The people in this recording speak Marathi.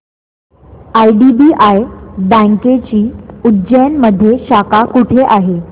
आयडीबीआय बँकेची उज्जैन मध्ये शाखा कुठे आहे